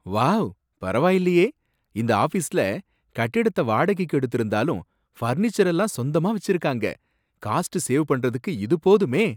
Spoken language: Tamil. வாவ், பரவாயில்லையே! இந்த ஆஃபீஸ்ல கட்டிடத்த வாடகைக்கு எடுத்திருந்தாலும் ஃபர்னிச்சர் எல்லாம் சொந்தமா வச்சிருக்காங்க, காஸ்ட் சேவ் பண்றதுக்கு இது போதுமே.